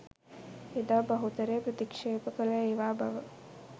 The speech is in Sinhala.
එදා බහුතරය ප්‍රතික්ෂේප කල ඒවා බව